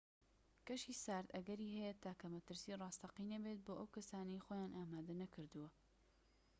کەشی سارد ئەگەری هەیە تاکە مەترسیی ڕاستەقینە بێت بۆ ئەو کەسانەی خۆیان ئامادە نەکردووە